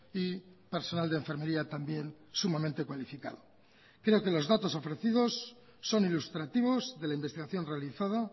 y personal de enfermería también sumamente cualificado creo que los datos ofrecidos son ilustrativos de la investigación realizada